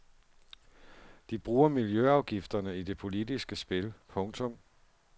De bruger miljløafgifterne i det politiske spil. punktum